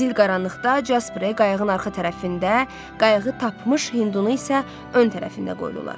Zil qaranlıqda Jasprə qayığın arxa tərəfində, qayıqı tapmış Hindunu isə ön tərəfində qoydular.